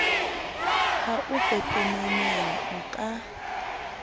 ha o pepeneneng o ka